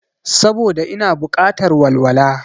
Saboda ina bukatar walwala